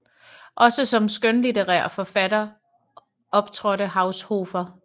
Også som skønlitterær forfatter optrådte Haushofer